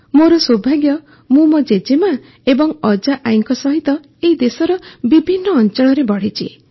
ମୋର ସୌଭାଗ୍ୟ ମୁଁ ମୋ ଜେଜେମା ଏବଂ ଅଜା ଆଈଙ୍କ ସହିତ ଏହି ଦେଶର ବିଭିନ୍ନ ଅଂଚଳରେ ବଢ଼ିଛି